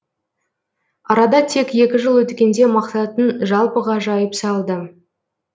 арада тек екі жыл өткенде мақсатын жалпыға жайып салды